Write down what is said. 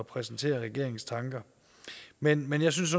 præsentere regeringens tanker men men jeg synes